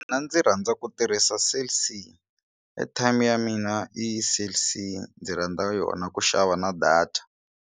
Mina ndzi rhandza ku tirhisa Cell c airtime ya mina i Cell c ndzi rhandza yona ku xava na data.